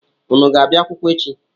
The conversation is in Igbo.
Unu ga-abịa akwụkwọ echi?